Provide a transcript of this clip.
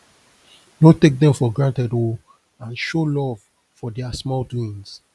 no take dem for granted o and show luv for dia small doings